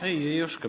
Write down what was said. Ei, ei oska.